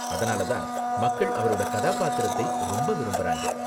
அதனால தான் மக்கள் அவரோட கதாபாத்திரத்தை ரொம்ப விரும்பறாங்க.